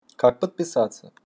как подписаться